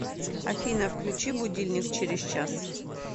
афина включи будильник через час